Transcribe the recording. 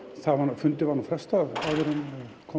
fundi var nú frestað áður en kom